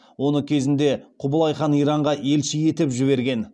оны кезінде құбылай хан иранға елші етіп жіберген